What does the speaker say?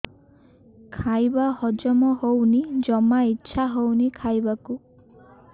ଖାଇବା ହଜମ ହଉନି ଜମା ଇଛା ହଉନି ଖାଇବାକୁ